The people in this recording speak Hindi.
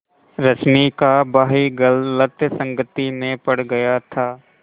रश्मि का भाई गलत संगति में पड़ गया था